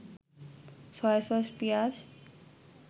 soy sauce, পিঁয়াজ